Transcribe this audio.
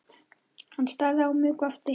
Hann starði á mig og gapti.